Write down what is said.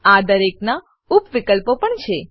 આ દરેકનાં ઉપ વિકલ્પો પણ છે